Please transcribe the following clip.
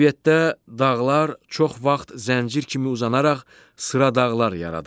Təbiətdə dağlar çox vaxt zəncir kimi uzanaraq sıra dağlar yaradır.